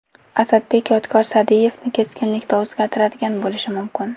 Asadbek Yodgor Sa’diyevni keskinlikda o‘zgartirgan bo‘lishi mumkin.